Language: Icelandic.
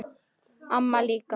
Amma líka.